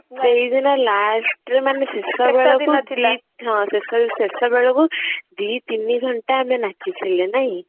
ସେଇ ଦିନ last ରେ ମାନେ ଶେଷ ବେଳକୁ ହଁ ଶେଷ ବେଳକୁ ଦି ତିନି ଘଣ୍ଟା ଆମେ ନାଚିଥିଲେ ନାଇଁ